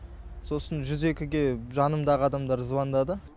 сосын жүз екіге жанымдағы адамдар звондады